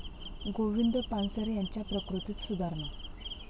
गोविंद पानसरे यांच्या प्रकृतीत सुधारणा